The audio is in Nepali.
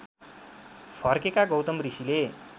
फर्केका गौतम ऋषिले